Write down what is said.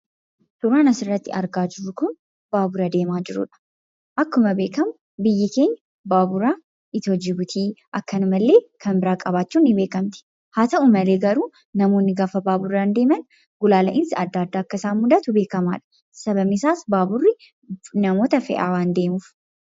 Suuraan asirratti argaa jirru kun baabura deemaa jirudha. Akkuma beekamu biyyi keenya baabura Itiyoo-Jibuutii, akkanumallee kan biraa qabachuun ni beekamti. Haa ta'u malee garuu namoonni gaafa baaburaan deeman, gulaala'iinsa adda addaa akka isaan mudatu beekamaadha. Sababni isaas baaburri namoota fe'aa waan deemuuf.